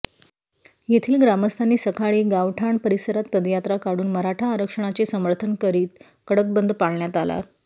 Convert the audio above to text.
येथील ग्रामस्थांनी सकाळी गावठाण परिसरात पदयात्रा काढून मराठा आरक्षणाचे समर्थन करीत कडक बंद पाळण्यात आला